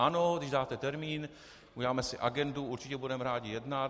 Ano, když dáte termín, uděláme si agendu, určitě budeme rádi jednat.